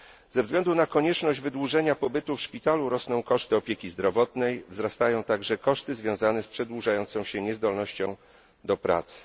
Ze względu na konieczność wydłużenia pobytu w szpitalu rosną koszty opieki zdrowotnej, wzrastają także koszty związane z przedłużająca się niezdolnością do pracy.